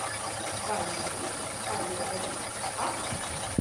валерий олегович ахатов